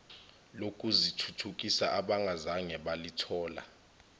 lokuzithuthukisa abangazange balithola